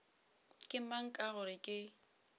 ke mang ka gore ke